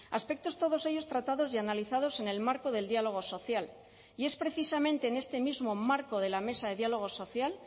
aspectos todos ellos tratados y analizados en el marco del diálogo social y es precisamente en este mismo marco de la mesa de diálogo social